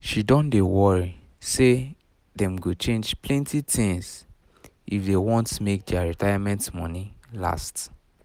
she don um dey worry say worry say them go change plenty things um if they want make um their retirement money last